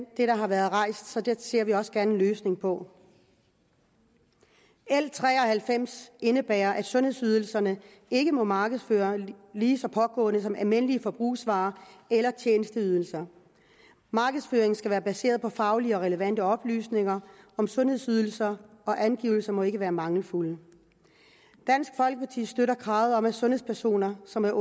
der har været rejst så det ser vi også gerne en løsning på l tre og halvfems indebærer at sundhedsydelserne ikke må markedsføres lige så pågående som almindelige forbrugsvarer eller tjenesteydelser markedsføring skal være baseret på faglige og relevante oplysninger om sundhedsydelser og angivelserne må ikke være mangelfulde dansk folkeparti støtter kravet om at sundhedspersoner som er